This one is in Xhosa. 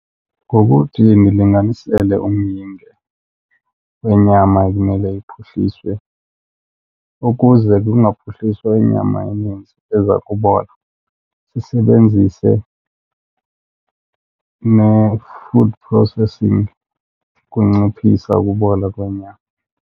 Ngokuthi nilinganisele umyinge wenyama ekumele iphuhliswe ukuze kungaphuhliswa inyama eninzi eza kubola, sisebenzise ne-food processing ukunciphisa ukubola kwenyama.